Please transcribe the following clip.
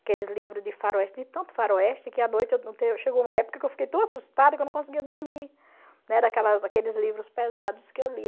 aqueles livros de faroeste, li tanto faroeste, que a noite chegou uma época que eu fiquei tão assustada que eu não conseguia dormir, né, daquelas daqueles livros pesados que eu lia.